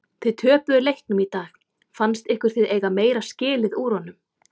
Þið töpuðu leiknum í dag fannst ykkur þið eiga meira skilið úr honum?